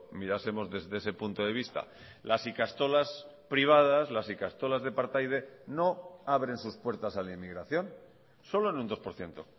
mirásemos desde ese punto de vista las ikastolas privadas las ikastolas de partaide no abren sus puertas a la inmigración solo en un dos por ciento